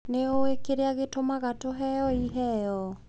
Nĩ ũĩ kĩrĩa gĩatũmaga tũheo iheo?